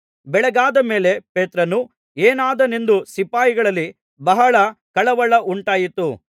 ಬೆಳಗಾದ ಮೇಲೆ ಪೇತ್ರನು ಏನಾದನೆಂದು ಸಿಪಾಯಿಗಳಲ್ಲಿ ಬಹಳ ಕಳವಳ ಉಂಟಾಯಿತು